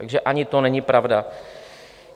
Takže ani to není pravda.